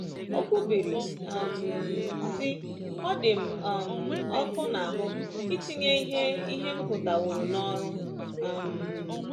O kwubiri, um sị: “Ọ dị m um ọkụ n’ahụ́ itinye ihe ihe m gụtaworo n’ọrụ.” um